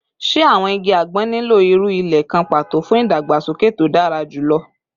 Ṣe awọn igi agbon nilo iru ile kan pato fun idagbasoke to dara julọ?